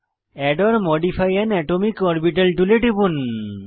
add or modify an atomic orbital টুলে টিপুন